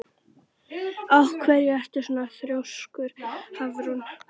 Af hverju ertu svona þrjóskur, Hafrún?